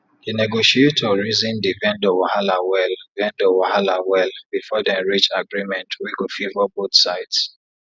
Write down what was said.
the negotiator reason the vendor wahala well vendor wahala well before dem reach agreement wey go favour both sides